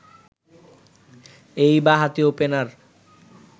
এই বাঁহাতি ওপেনার